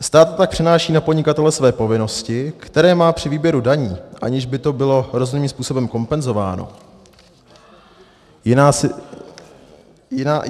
Stát tak přenáší na podnikatele své povinnosti, které má při výběru daní, aniž by to bylo rozumným způsobem kompenzováno.